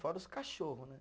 Fora os cachorro, né?